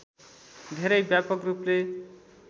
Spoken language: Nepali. धेरै व्यापक रूपले